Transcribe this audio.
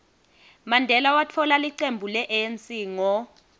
mandela watfola licembu le anc ngo